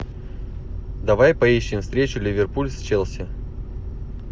давай поищем встречу ливерпуль с челси